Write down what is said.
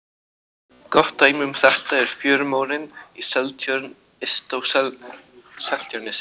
Gott dæmi um þetta er fjörumórinn í Seltjörn yst á Seltjarnarnesi.